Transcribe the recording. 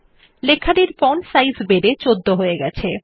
লেখাটির font size বেড়ে ১৪ হয়ে গেছে